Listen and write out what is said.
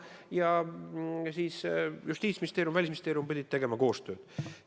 Ja Justiitsministeerium ning Välisministeerium pidid koostööd tegema.